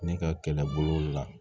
Ne ka kɛlɛbolo la